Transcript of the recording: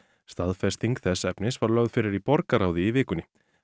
staðfesting þess efnis var lögð fyrir borgarráð í vikunni